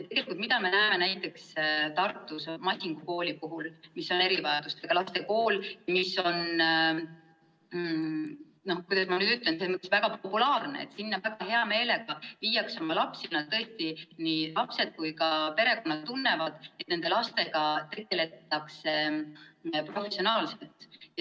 Tegelikult me näeme näiteks Tartus Masingu kooli puhul, mis on erivajadustega laste kool ja väga populaarne, seda, et sinna viiakse oma lapsi hea meelega ja tõesti nii lapsed kui ka perekonnad tunnevad, et nendega tegeldakse professionaalselt.